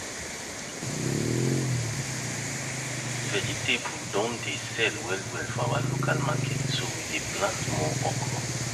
vegetable don dey sell well for our local market so we dey plant more okra